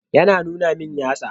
Yana nuna min yatsa.